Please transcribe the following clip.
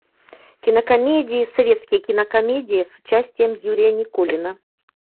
кинокомедии советские кинокомедии с участием юрия никулина